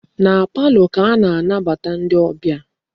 Na palọ ka a na-anabata ndi obia.